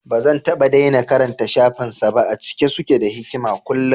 Bazan taɓa daina karanta shafin sa ba, a cike suke da hikama kullum